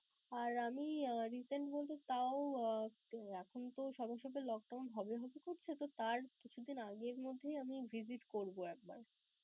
আর আমি recent বলতে তাও এখন তো সবার সাথে lock down হবে হবে করছে, তো তার কিছুদিন আগে এর মধ্যেই visit করবো একবার.